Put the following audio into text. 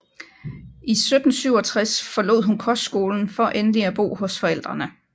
I 1767 forlod hun kostskolen for endelig at bo hos forældrene